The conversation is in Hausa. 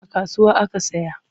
A kasuwa aka saya.